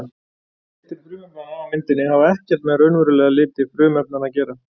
Litir frumefnanna á myndinni hafa ekkert með raunverulega liti frumefnanna að gera.